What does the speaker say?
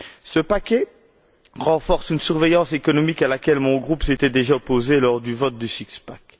Ce paquet renforce une surveillance économique à laquelle mon groupe s'était déjà opposé lors du vote du six pack.